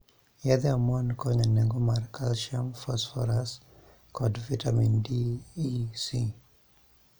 Yedhe homon konyo nengo mar calsiam, fosforas kod vitamin D e c